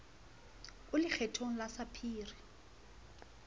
o le kgethong ya sapphire